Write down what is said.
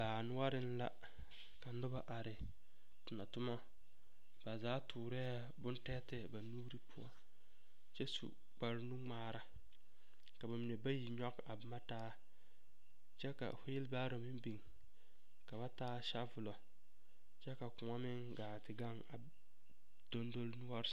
Baa noɔreŋ la ka noba are tonɔtomɔ, ba zaa toorɛɛ bontɛɛtɛɛ ba nuuri poɔ kyɛ su kpare nu ŋmaaara, ka bamine bayi a nyɔge a boma taa kyɛ ka weelbaaro meŋ biŋ ka ba taa sabolɔ kyɛ ka kõɔ meŋ gaa te gaŋ a dondoli noɔre